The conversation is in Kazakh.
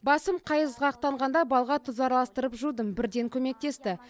басым қайызғақтанғанда балға тұз араластырып жудым бірден көмектесті